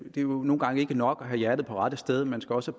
at det nogle gange ikke er nok at have hjertet på rette sted man skal også